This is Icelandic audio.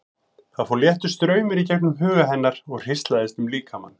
Það fór léttur straumur í gegnum huga hennar og hríslaðist um líkamann.